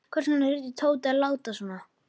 Hvers vegna þurfti Tóti að láta svona.